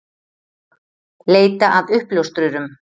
Leita að uppljóstrurum